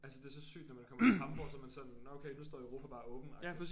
Altså det så sygt når man kommer til Hamborg så er man sådan nåh okay nu står Europa bare åben agtigt